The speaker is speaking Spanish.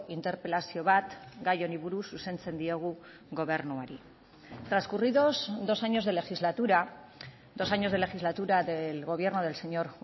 interpelazio bat gai honi buruz zuzentzen diogu gobernuari transcurridos dos años de legislatura dos años de legislatura del gobierno del señor